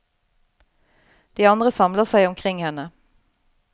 De andre samler seg omkring henne.